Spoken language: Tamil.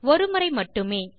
ஒருமுறை மட்டுமே